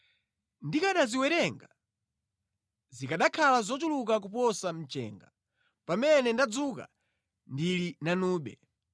Ndikanaziwerenga, zikanakhala zochuluka kuposa mchenga; pamene ndadzuka, ndili nanube.